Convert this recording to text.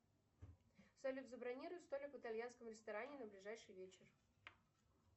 салют забронируй столик в итальянском ресторане на ближайший вечер